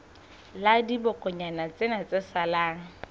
la dibokonyana tsena tse salang